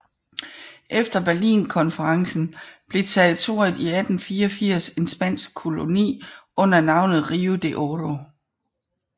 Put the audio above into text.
Efter Berlinkonferencen blev territoriet i 1884 en spansk koloni under navnet Rio de Oro